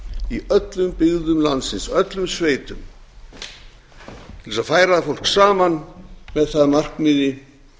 í öllum byggðum landsins öllum sveitum til þess að færa fólk saman með það að markmiði